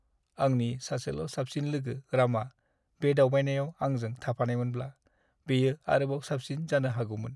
आंनि सासेल' साबसिन लोगो रामा बे दावबायनायाव आंजों थाफानायमोनब्ला, बेयो आरोबाव साबसिन जानो हागौमोन।